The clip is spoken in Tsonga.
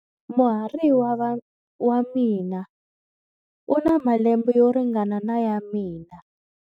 Muhariva wa mina u na malembe yo ringana na ya mina.